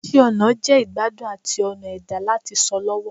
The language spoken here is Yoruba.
Iṣẹ ọna jẹ igbadun ati ọna ẹda lati sọ lọwọ